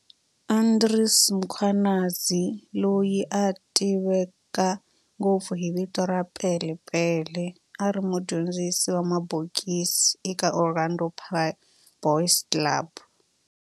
Andries Mkhwanazi, loyi a tiveka ngopfu hi vito ra"Pele Pele", a ri mudyondzisi wa mabokisi eka Orlando Boys Club.